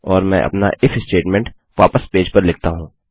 और मैं अपना इफ स्टेटमेंट वापस पेज पर लिखता हूँ